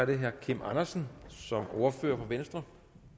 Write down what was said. det herre kim andersen som ordfører for venstre